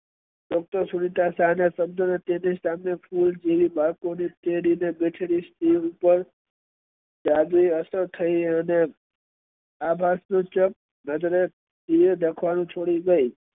doctor Sunita Shah ના શબ્દો જાદુયી અસર થઇ અને અભા તો છક થઇ